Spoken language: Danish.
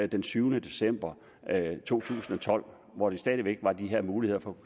den syvende december to tusind og tolv hvor der stadig væk var de her muligheder for